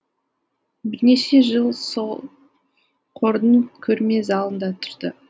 бірнеше жыл сол қордың көрме залында тұрды